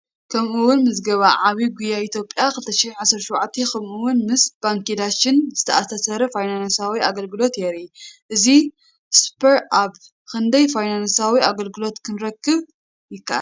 ከምኡ’ውን ምዝገባ ዓቢ ጉያ ኢትዮጵያ 2017፡ ከምኡ’ውን ምስ ባንኪ ዳሸን ዝተኣሳሰር ፋይናንሳዊ ኣገልግሎት የርኢ። በዚ ሱፐር ኣፕ ክንደይ ፋይናንሳዊ ኣገልግሎት ክረክብ ይከኣል?